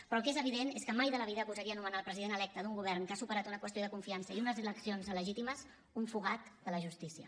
però el que és evident és que mai de la vida gosaria anomenar el president electe d’un govern que ha superat una qüestió de confiança i unes eleccions legítimes un fugat de la justícia